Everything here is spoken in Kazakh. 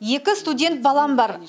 екі студент балам бар